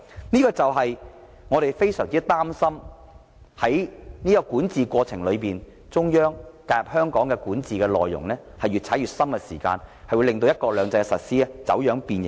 這正是我們非常擔心在管治過程中，中央對香港管治的介入越來越大，導致"一國兩制"的實施走樣和變形。